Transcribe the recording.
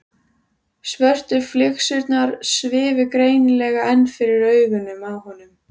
Svörtu flygsurnar svifu greinilega enn fyrir augunum á honum.